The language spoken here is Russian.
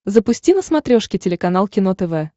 запусти на смотрешке телеканал кино тв